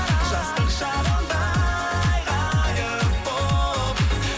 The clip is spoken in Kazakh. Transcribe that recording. жастық шағымдай ғайып болып